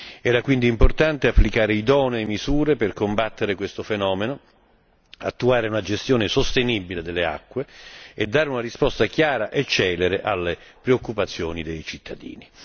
Era quindi importante applicare idonee misure per combattere questo fenomeno, attuare una gestione sostenibile delle acque e dare una risposta chiara e celere alle preoccupazioni dei cittadini.